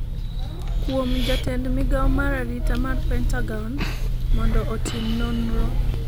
kuom jatend migawo mar arita mar Pentagon mondo otim nonro